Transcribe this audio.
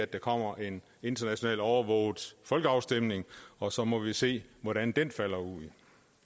der kommer en internationalt overvåget folkeafstemning og så må man se hvordan den falder ud